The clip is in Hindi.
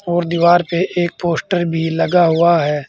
और दीवार पे एक पोस्टर भी लगा हुआ है।